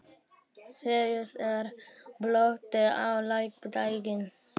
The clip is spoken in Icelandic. Sýrus, er bolti á laugardaginn?